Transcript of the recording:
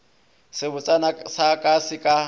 sebotsana sa ka se ka